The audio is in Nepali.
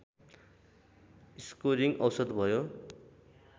स्कोरिङ औसत भयो